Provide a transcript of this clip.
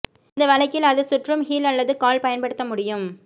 இந்த வழக்கில் அது சுற்றும் ஹீல் அல்லது கால் பயன்படுத்த முடியும்